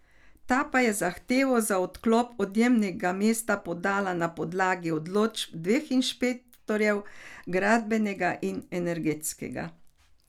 Ta pa je zahtevo za odklop odjemnega mesta podala na podlagi odločb dveh inšpektorjev, gradbenega in energetskega.